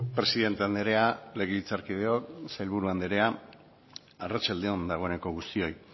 presidente andrea legebiltzarkideok sailburu andrea arratsalde on dagoeneko guztioi